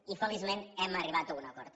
i feliçment hem arribat a un acord